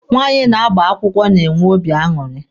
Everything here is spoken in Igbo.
Nwaanyị na-agba akwụkwọ na-enwe obi aṅụrị.